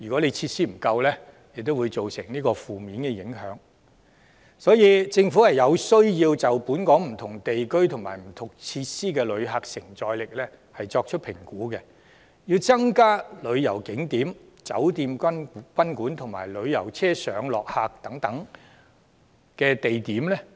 有鑒於此，政府實在有需要就本港不同地區及設施的旅客承載力作出評估，並增加旅遊景點、酒店及賓館，以及旅遊車上落客地點等的相關設施。